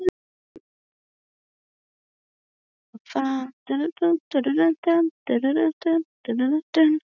Í rauninni var það rétt hjá Benna.